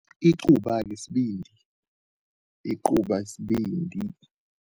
Icuba-ke sbindi, icuba yisbindi.